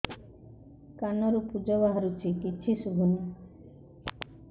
କାନରୁ ପୂଜ ବାହାରୁଛି କିଛି ଶୁଭୁନି